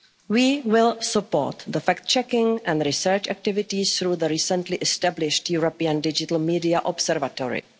education. We will support fact checking and research activities through the recently established European Digital Media